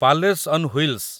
palace on wheels